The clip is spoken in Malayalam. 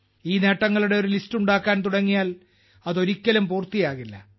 ഈ നേട്ടങ്ങളുടെ ഒരു ലിസ്റ്റ് ഉണ്ടാക്കാൻ തുടങ്ങിയാൽ അത് ഒരിക്കലും പൂർത്തിയാകില്ല